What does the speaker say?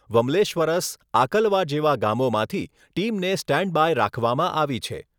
વમલેશ્વરસ આકલવા, જેવા ગામોમાંથી ટીમને સ્ટેન્ડ બાય રાખવામાં આવી છે.